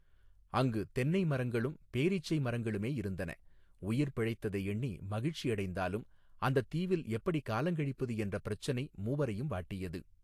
அங்கு தென்னை மரங்களும் பேரீச்சைமரங்களுமே இருந்தன உயிர் பிழைத்ததை எண்ணி மகிழ்ச்சி அடைந்தாலும் அந்தத் தீவில் எப்படி காலங்கழிப்பது என்ற பிரச்சினை மூவரையும் வாட்டியது.